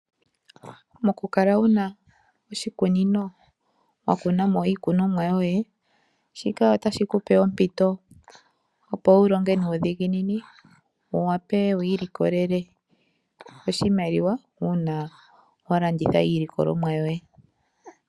Mokukala wuna oshikunino wa kuna mo iikunomwa yoye, shika otashi kupe ompito opo wu longe nuudhiginini wu wape wi ilikolele oshimaliwa uuna wa landitha iilikolomwa yoye.